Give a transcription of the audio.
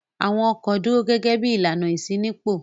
Àwọn ọkọ̀ dúró gẹ́gẹ́ bí ìlànà ìṣínípò.